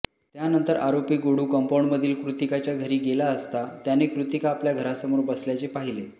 त्यानंतर आरोपी गोडू कंपाऊंडमधील कृतिकाच्या घरी गेला असता त्याने कृतिका आपल्या घरासमोर बसल्याचे पाहिले